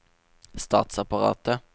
statsapparatet